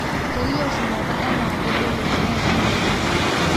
kelio shumata enaa kebolo teneishunye enchan.